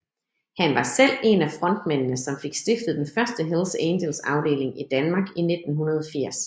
Han var selv en af frontmændene som fik stiftet den første Hells Angels afdeling i Danmark i 1980